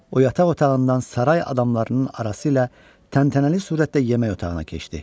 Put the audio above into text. O yataq otağından saray adamlarının arasıyla təntənəli surətdə yemək otağına keçdi.